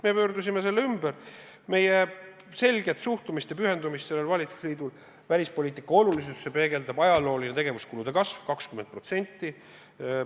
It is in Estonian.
Me pöörasime selle ümber, selle valitsusliidu selget suhtumist välispoliitika olulisusesse ja pühendumist välispoliitikale peegeldab ajalooline tegevuskulude kasv – 20%.